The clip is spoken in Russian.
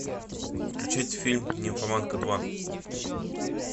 включить фильм нимфоманка два